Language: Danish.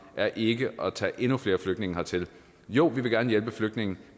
er ikke at tage endnu flere flygtninge hertil jo vi vil gerne hjælpe flygtninge